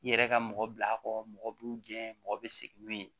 I yɛrɛ ka mɔgɔ bila a kɔrɔ mɔgɔ b'i gɛn mɔgɔ bɛ segin n'u ye